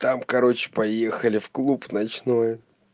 там короче поехали в клуб ночной